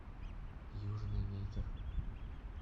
южный ветер